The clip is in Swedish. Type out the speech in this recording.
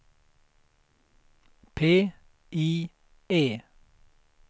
PIE